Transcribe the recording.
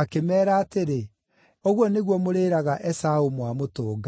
akĩmeera atĩrĩ, “Ũguo nĩguo mũrĩĩraga Esaũ mwamũtũnga.